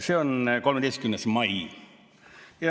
See oli 13. mail.